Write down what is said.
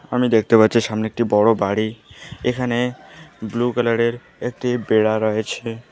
আমি দেখতে পাচ্ছি সামনে একটি বড়ো বাড়ি এখানে ব্লু কালার -এর একটি বেড়া রয়েছে।